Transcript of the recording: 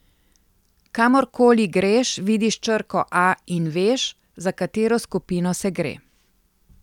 Kamorkoli greš vidiš črko A in veš, za katero skupino se gre.